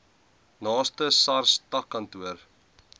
naaste sars takkantoor